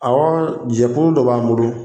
Awɔ jɛkulu dɔ b'an bolo.